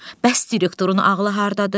Bəs direktorun ağlı hardadır?